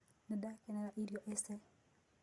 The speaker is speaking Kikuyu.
Nĩndakenera irio ĩcĩ.